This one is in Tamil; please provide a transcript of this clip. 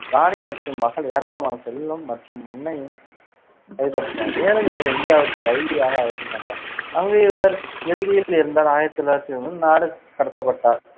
ராணி மற்றும் மகள், ஏராளமான செல்வம் மற்றும் மண்ணையும் கைப்பற்றினார், மேலும் அவர் இந்தியாவுக்கு கைதியாக அழைத்துச் சென்றார், அங்கு அவர் இறுதியில் இறந்தார். ஆயிரத்தி ல் நாடுகடத்தப்பட்டார்